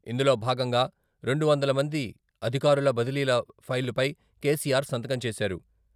ఇందులో భాగంగా రెండు వందల మంది అధికారుల బదిలీల ఫైలుపై కేసీఆర్ సంతకం చేశారు.